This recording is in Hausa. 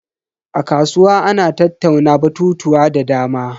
A kasuwa ana tattauna batutuwa da dama.